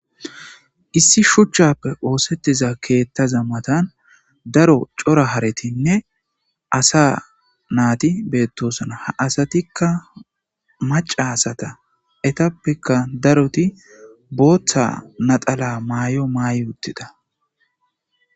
Issi shuchappe osetiza keethaza matan daro cora haretinne assa nati betosona ha asatika maca asara etappeka daroti bootha naxala mayo may utida